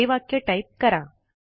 हे वाक्य टाईप करा